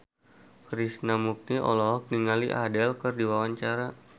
Krishna Mukti olohok ningali Adele keur diwawancara